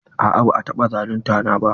A'a ba a taɓa zalunta na ba.